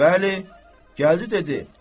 Bəli, gəldi dedi: